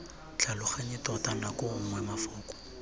tlhaloganye tota nako nngwe mafoko